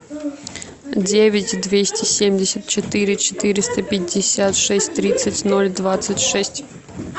девять двести семьдесят четыре четыреста пятьдесят шесть тридцать ноль двадцать шесть